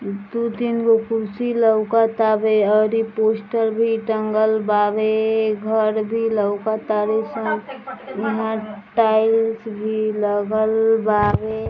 दू तीन गो कुर्सी लउकत आवे और इ पोस्टर भी टंगल बावे | घर भी लउकत तारे सन | और यहाँ टाइल्स भी लगल बावे |